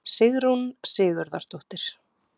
Sigrún Sigurðardóttir.